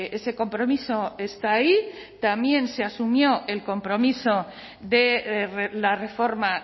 ese compromiso está ahí también se asumió el compromiso de la reforma